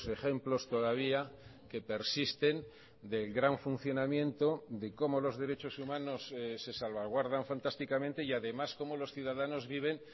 ejemplos todavía que persisten del gran funcionamiento de cómo los derechos humanos se salvaguardan fantásticamente y además cómo los ciudadanos viven